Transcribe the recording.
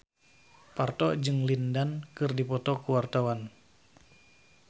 Parto jeung Lin Dan keur dipoto ku wartawan